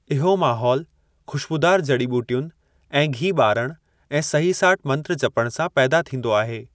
इहो माहौल खु़श्बूदार जड़ी-ॿूटियुनि ऐं घी ॿारण ऐं सही-साठ मंत्र जपण सां पैदा थींदो आहे।